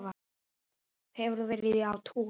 Hefur þú verið á túr?